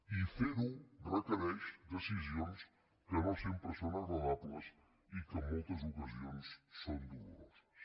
i ferho requereix decisions que no sempre són agradables i que en moltes ocasions són doloroses